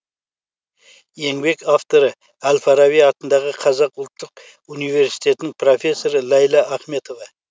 еңбек авторы әл фараби атындағы қазақ ұлттық университетінің профессоры ләйлә ахметова